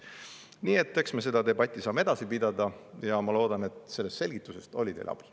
Nii et eks me seda debatti saame edasi pidada ja ma loodan, et sellest selgitusest oli teile abi.